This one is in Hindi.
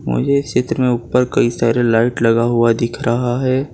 मुझे इस चित्र में ऊपर कई सारे लाइट लगा हुआ दिख रहा है।